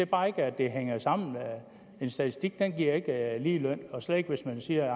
bare ikke at det hænger sammen en statistik giver ikke lige løn og slet ikke hvis man siger